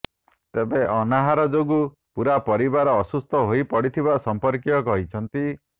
ତେବେ ଅନାହାର ଯୋଗୁଁ ପୁରା ପରିବାର ଅସୁସ୍ଥ ହୋଇପଡିଥିବା ସଂପର୍କୀୟ କହିଛନ୍ତି